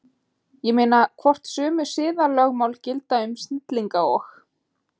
Ég meina, hvort sömu siðalögmál gildi um snillinga og